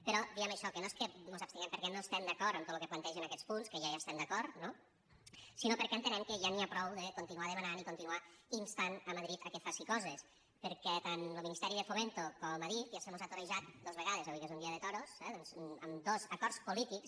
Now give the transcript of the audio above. però diem això que no és que mos abstinguem perquè no estem d’acord amb tot lo que plantegen aquests punts que ja hi estem d’acord no sinó perquè entenem que ja n’hi ha prou de continuar demanant i continuar instant madrid que faci coses perquè tant lo ministeri de fomento com adif ja se mos han torejat dos vegades avui que és un dia de toros eh doncs amb dos acords polítics